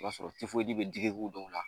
O b'a sɔrɔ bɛ digiko dɔw la